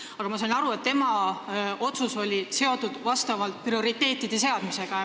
Aga ma saan aru, et tema otsus oli seotud vastavate prioriteetide seadmisega.